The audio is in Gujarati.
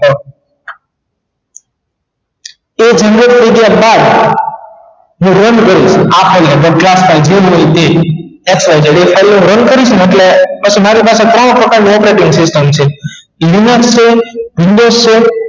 તે delete થઈ ગયા બાદ હું run કરીશ જેમ હોય તેમ xyz હું અહિયાં run કરીશ ને ઍટલે પછી મારી પાસે ત્રણ પ્રકાર ની operating system છે શું છે જુંબેશ છે